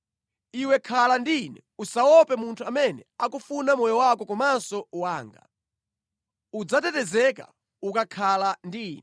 Iwe khala ndi ine, usaope munthu amene akufuna moyo wako komanso wanga. Udzatetezeka ukakhala ndi ine.”